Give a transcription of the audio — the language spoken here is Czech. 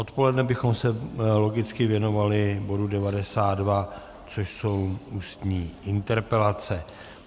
Odpoledne bychom se logicky věnovali bodu 92, což jsou ústní interpelace.